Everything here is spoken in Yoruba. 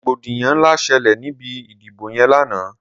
Rógbódiyàn nlá ṣẹlẹ nibi idibó yèn làná